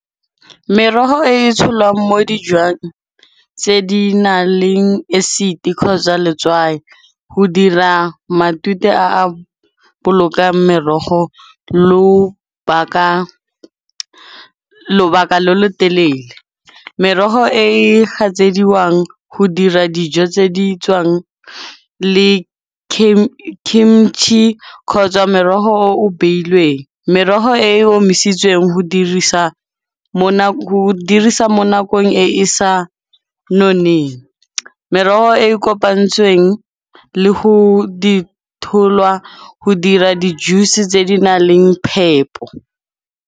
Merogo e e tsholwang mo dijwang tse di na leng acid kgotsa letswai, ho dira matute a a bolokang merogo lobaka lo lo telele. Meroho e hatsediwang ho dira dijo tse di tswang le kgotsa merogo o o beilweng. Meroho e omisitsweng ho o dirisa mo nakong e e sa noneng, meroho e e kopantsweng ho dira di-juice tse di na leng phepo.